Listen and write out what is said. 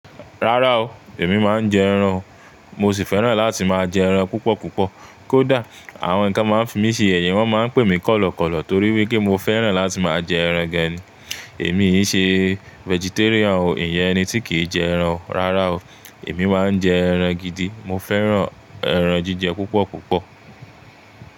Rárá o, èmi máa ń jẹ ẹran o, mo sì fẹ́ràn láti máa jẹ ẹran púpọ̀ púpọ̀. Kódà àwọn tí wọ́n máa ń fi mi ṣìyẹ́ yẹ wọ́n máa ń pè mi kọ̀lọ̀kọ̀lọ̀ torí wípé mo fẹ́ràn láti máa jẹ ẹran gan ni. Èmi kì í ṣe vegetarian o, ìyẹn ẹni tí kì í jẹ ẹran. Rárá o, èmi máa ń jẹ ẹran gidi. Mo fẹ́ràn ẹran jíjẹ púpọ̀ púpọ̀